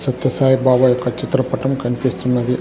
సత్య సాయి బాబా యొక్క చిత్రపటం కన్పిస్తున్నది.